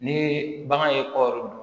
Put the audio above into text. Ni bagan ye kɔɔri dun